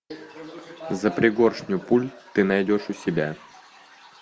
за пригоршню пуль ты найдешь у себя